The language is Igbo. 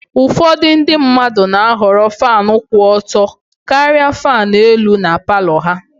Ụfọdụ ndị mmadụ na-ahọrọ Fan kwụ ọtọ karịa fan elu na Palọ ha